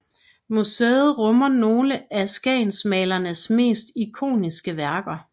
Museet rummer nogle af skagensmalernes mest ikoniske værker